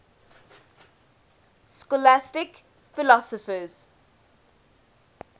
scholastic philosophers